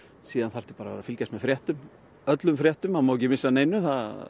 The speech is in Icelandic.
síðan þarftu bara að fylgjast með fréttum öllum fréttum það má ekki missa af neinu